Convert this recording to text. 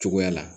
Cogoya la